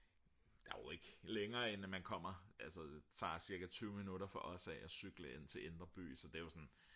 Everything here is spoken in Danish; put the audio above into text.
der er jo ikke længere end at man kommer altså det tager cirka 20 minutter for os at cykle ind til indre by så det er sådan